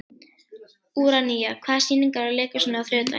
Úranía, hvaða sýningar eru í leikhúsinu á þriðjudaginn?